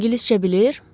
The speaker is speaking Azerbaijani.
O ingiliscə bilir?